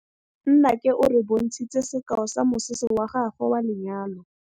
Nnake o re bontshitse sekaô sa mosese wa gagwe wa lenyalo.